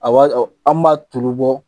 A waati an tun b'a tulu bɔ